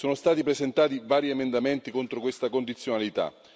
Sono stati presentati vari emendamenti contro questa condizionalità.